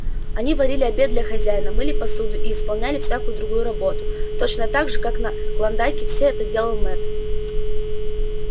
они варили обед для хозяина мыли посуду и исполняли всякую другую работу точно гак же как на клондайке всё это делал мэтт